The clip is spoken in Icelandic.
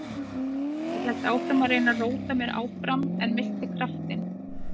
Ég hélt áfram að reyna að róta mér áfram en missti kraftinn.